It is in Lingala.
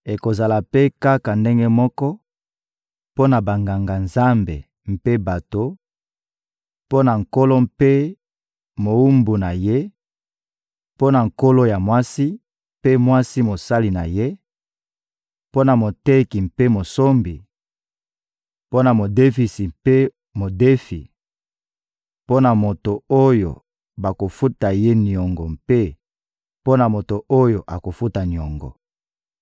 Ekozala mpe kaka ndenge moko mpo na Banganga-Nzambe mpe bato, mpo na nkolo mpe mowumbu na ye, mpo na nkolo ya mwasi mpe mwasi mosali na ye, mpo na moteki mpe mosombi, mpo na modefisi mpe modefi, mpo na moto oyo bakofuta ye niongo mpe mpo na moto oyo akofuta niongo.